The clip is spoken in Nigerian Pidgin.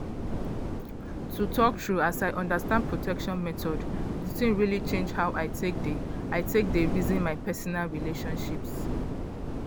to talk true as i understand protection methods the thing really change how i take dey i take dey reason my personal relationships